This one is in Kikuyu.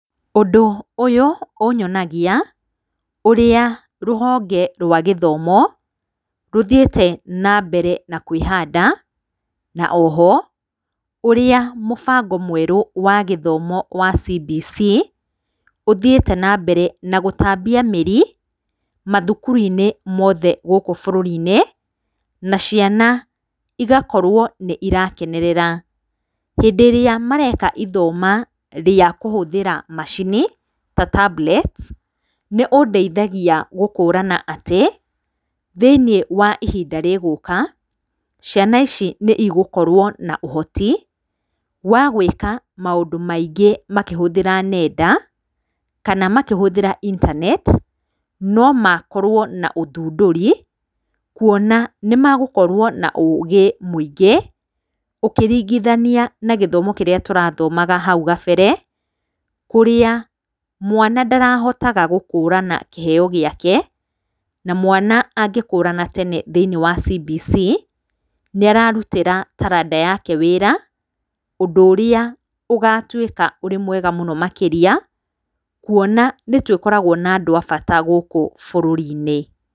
Ũndũ ũyũ ũnyonagia ũrĩa rũhonge rwa gĩthomo rũthiĩte na mbere na kwĩhanda, na o ho ũrĩa mũbango mwerũ wa gĩthomo wa CBC ũthiĩte na mbere na gũtambia mĩri mathukuru-inĩ mothe gũkũ bũrũri-inĩ na ciana igakorwo nĩ irakenerera. Hindĩ ĩrĩa mareka ithoma rĩa kũhũthĩra macini ta tablets, nĩũndeithagia gũkũrana atĩ, thĩiniĩ wa ihinda rĩgũka, ciana ici nĩ cigũkorwo na ũhoti wa gwĩka maũndũ maingĩ makĩhũthĩra nenda kana makĩhũthĩra intaneti, no makorwo na ũthundũri kuona nĩ magũkorwo na ũgĩ mũingĩ, ũkĩringithania na gĩthomo ũkĩringithania na gĩthomo kĩrĩa tũrathomaga hau kabere, kũrĩa mwana ndarahotaga gũkũrana kĩheyo gĩake, na mwana angĩkũrana tene thĩiniĩ wa CBC, nĩ ararutĩra taranda yake wĩra, ũndũ ũrĩa ũgatuĩka wĩ mwega mũno makĩria, kuona nĩ twĩkoragwo na andũ a bata gũkũ bũrũri-inĩ.